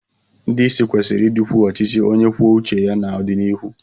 Ndị isi kwesịrị ịdịkwu ọchịchị onye kwuo uche ya n'ọdịnihu.